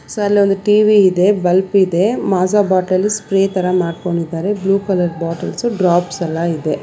So ಅಲ್ಲೊಂದ್ TV ಇದೆ bulb ಇದೆ ಮಜಾ ಬಾಟಲ್ ಸ್ಪ್ರೇ ತರ ಮಾಡ್ಕೊಂಡಿದಾರೆ ಬ್ಲೂ ಕಲರ್ ಬಾಟಲ್ಸ್ ಡ್ರಾಪ್ಸ್ ಎಲ್ಲ ಇದೆ.